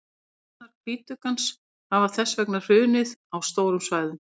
stofnar hvítuggans hafa þess vegna hrunið á stórum svæðum